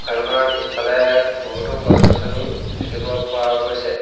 দোকানখনৰ পিছফালে বহুতো গছ-গছনি দেখিব পোৱা গৈছে।